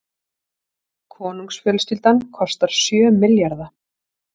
Konungsfjölskyldan kostar sjö milljarða